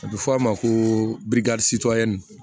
A bɛ fɔ a ma ko